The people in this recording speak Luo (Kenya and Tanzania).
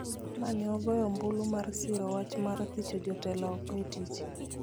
ma ne ogoyo ombulu mar siro wach mar thicho jotelo oko e tich